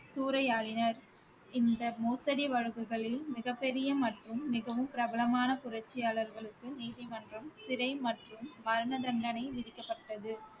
சூறையாடினர், இந்த மோசடி வழக்குகளில் மிகப் பெரிய மற்றும் மிகவும் பிரபலமான புரட்சியாளர்களுக்கு நீதிமன்றம் சிறை மற்றும் மரண தண்டனை விதிக்கப்பட்டது